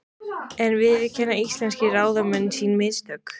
En viðurkenna íslenskir ráðamenn sín mistök?